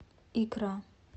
икра